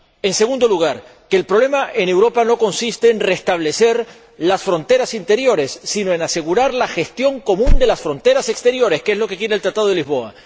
En segundo lugar, que el problema en Europa no consiste en restablecer las fronteras interiores, sino en asegurar la gestión común de las fronteras exteriores, que es lo que quiere el Tratado de Lisboa.